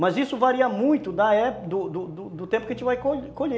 Mas isso varia muito da e do do do tempo que a gente vai co colher